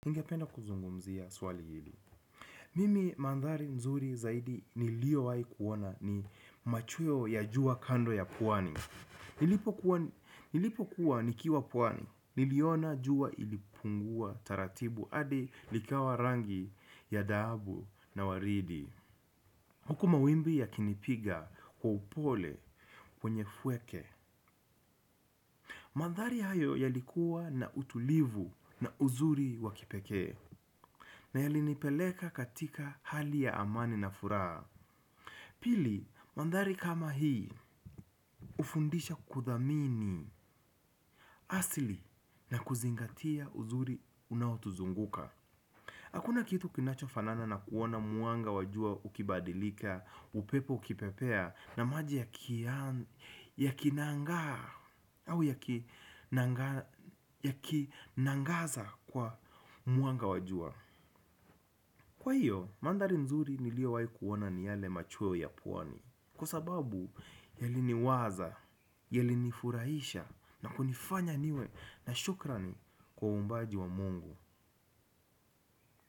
Ningependa kuzungumzia swali hili. Mimi mandhari nzuri zaidi nilio waikuona ni machuo ya jua kando ya puwani. Nilipo kuwa nikiwa puwani niliona jua ilipungua taratibu adi likawa rangi ya dhaabu na waridi. Huku mawimbi yakinipiga kwa upole kwenye fweke. Mandhari hayo yalikuwa na utulivu na uzuri wa kipekee. Na yali nipeleka katika hali ya amani na furaa. Pili, mandhari kama hii, ufundisha kuthamini asili na kuzingatia uzuri unaotuzunguka. Hakuna kitu kinacho fanana na kuona muanga wa jua ukibadilika, upepo ukipepea, na maji yaki nangaza kwa mwanga wa jua. Kwa hiyo, mandhari nzuri nilio wai kuona ni yale machuo ya puwani. Kwa sababu, yali ni lwaza, yalinifuraisha na kunifanya niwe na shukrani kwa umbaji wa Mungu.